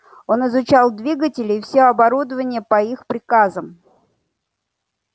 он изучал двигатели и всё оборудование по их приказам